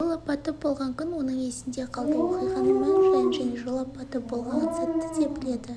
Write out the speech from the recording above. жол апаты болған күн оның есінде қалды оқиғаның мән-жайын және жол апаты болған сәтті де біледі